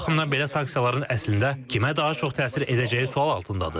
Bu baxımdan belə sanksiyaların əslində kimə daha çox təsir edəcəyi sual altındadır.